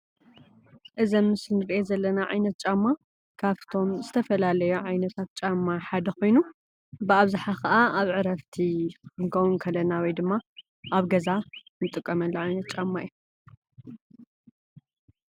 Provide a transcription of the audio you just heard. እዚ ኣብ ምስሊ ንሪኦ ዘለና ዓይነት ጫማ ካብቶም ዝተፈላለዩ ዓይነታት ጫማ ሓደ ኾይኑ ብኣብዝሓ ኸኣ ኣብ ዕረፍቲ ክንከው ከለና ወይድማ ኣብ ገዛ እንጥቀመሉ ዓይነት ጫማ እዩ፡፡